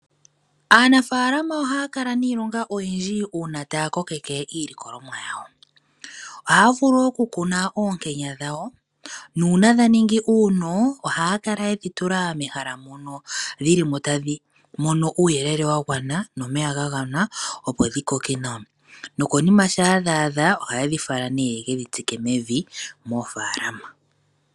Aanafaalama ohaya kala niilonga oyindji uuna taya kokeke iilikolomwa yawo. Ohaya vulu okukuna oonkenya dhawo nuuna dhaningi uuno ohaya kala yedhi tula mehala mono muna uuyelele wagwana nomeya gagwana opo dhikoke nawa nokonima shampa dha adha ohayedhi fala nee yeku dhi tsike mevi moofalama.